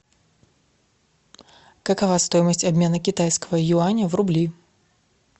какова стоимость обмена китайского юаня в рубли